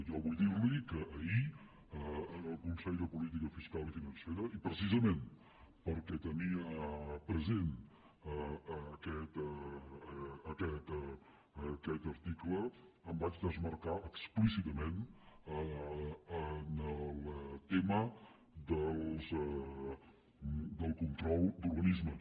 jo vull dir li que ahir en el consell de política fiscal i financera i precisament perquè tenia present aquest article em vaig desmarcar explícitament del tema del control d’organismes